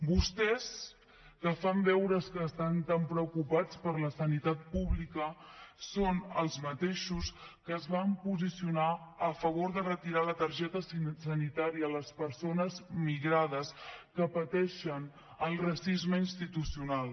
vostès que fan veure que estan tan preocupats per la sanitat pública són els mateixos que es van posicionar a favor de retirar la targeta sanitària a les persones migrades que pateixen el racisme institucional